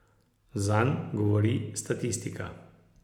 Zanj govori statistika.